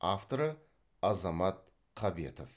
авторы азамат қабетов